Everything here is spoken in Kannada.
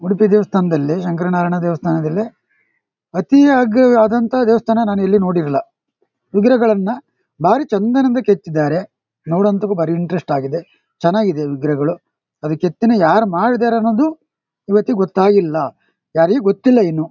ಉಡುಪಿ ದೇವಸ್ಥಾನದಲ್ಲಿ ಶಂಕರ್ ನಾರಾಯಣ ದೇವಸ್ಥಾನದಲ್ಲಿ ಅತೀ ಯಾಗಿ ಆದಂತ ದೇವಸ್ಥಾನ ನಾನ್ ಎಲ್ಲು ನೋಡಿರಿಲಿಲ್ಲ. ಉಗುರು ಗಳನ್ನ ಭಾರಿ ಚೆಂದ ದಿಂದ ಕೆತ್ತಿದ್ದಾರೆ. ಭಾರಿ ಇಂಟ್ರೆಸ್ಟ್ ಆಗಿದೆ. ಚನಾಗಿದೆ ಈ ವಿಗ್ರಹ ಗಳು. ಅದು ಕೆತ್ತನೆ ಯಾರ್ ಮಾಡಿದರೆ ಅನ್ನೋದು ಇವತ್ತು ಗೊತ್ತಾಗಿಲ್ಲ ಯಾರಿಗೂ ಗೊತ್ತಿಲ್ಲಾ ಇನ್ನು.